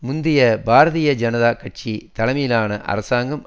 முந்திய பாரதிய ஜனதா கட்சி தலைமையிலான அரசாங்கம்